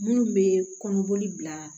Minnu bɛ kɔnɔboli bila